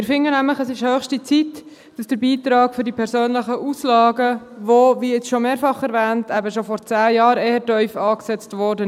Wir finden nämlich, es sei höchste Zeit, dass der Beitrag für die persönlichen Auslagen erhöht wird, der, wie jetzt schon mehrfach erwähnt, vor 10 Jahren eher tief angesetzt wurde.